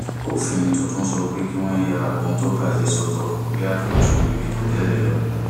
òfin tuntun sọ pé kí wọn ya ohun tó bà jé sọtọ ó yàtọ ju ètò tẹlẹ lọ